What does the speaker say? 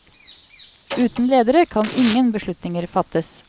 Uten ledere kan ingen beslutninger fattes.